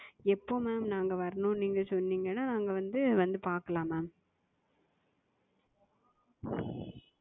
எப்போ Ma'am நாங்க வரணும்னு நீங்க சொன்னீங்கனா நாங்க வந்து வந்து பாக்கலாம் Ma'am.